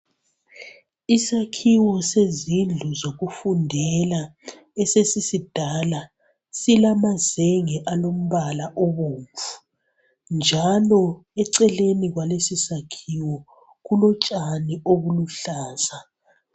Isakhiwo sezindlu zokufundela esesisidala ,silamazenge alombala obomvu njalo eceleni kwalesisakhiwo kulotshani obuluhlaza.